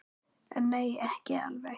En nei, ekki alveg.